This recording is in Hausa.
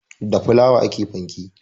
Da fulawa ake panke